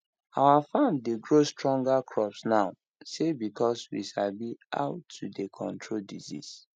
our farm dey grow stronger crops now say because we sabi now how to dey control disease